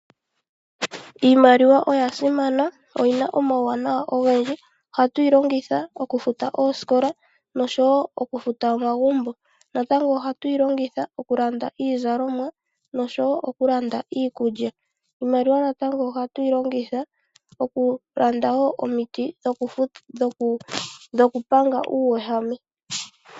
Iimaliwa oya simana oyi na omauwanawa ogendji ohatu yi longitha okufuta oosikola nosho wo okufuta omagumbo. Natango ohatu yi longitha okulanda iizalomwa nosho wo okulanda iikulya. Iimaliwa natango ohatu yi longitha okulanda wo omiti dhokupanga uuwehame.